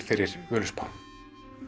fyrir Völuspá